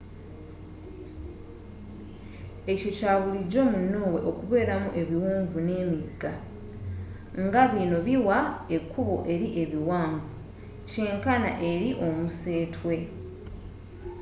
ekyo kya bulijjo mu norway okubeeramu ebiwonvu n'emigga nga bino biwa ekkubo eri ebiwanvu kyenkana eri omusetwe